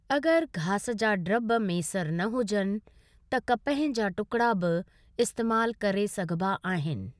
अगर घास जा ड्रब मेसर न हुजनि त कपह जा टुकड़ा बि इस्‍तेमालु करे सघिबा आहिनि।